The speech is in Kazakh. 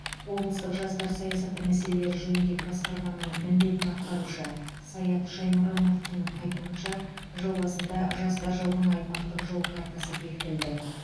облыстық жастар саясаты мәселелері жөніндегі басқарманың міндетін атқарушы саят шаймұрыновтың айтуынша жыл басында жастар жылының аймақтық жол картасы бекітілді